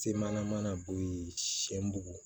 Se mana bo yen sɛ bugu